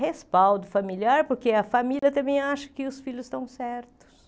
Respaldo familiar, porque a família também acha que os filhos estão certos.